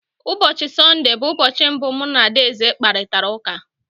Ụbọchị Sọnde bụ ụbọchị mbụ mụ na Adaeze kparịtara ụka.